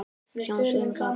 Semja um hvað?